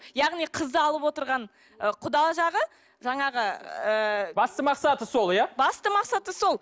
яғни қызды алып отырған ы құда жағы жаңағы ыыы басты мақсаты сол иә басты мақсаты сол